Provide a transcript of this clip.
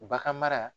Bagan mara